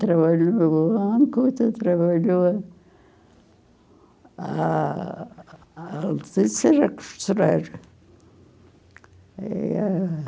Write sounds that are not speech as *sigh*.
Trabalhava no banco, trabalhava... A *unintelligible* é costeira. E, é...